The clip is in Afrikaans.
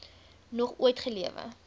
nog ooit gelewe